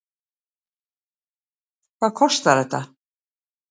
Hvað kostar þetta?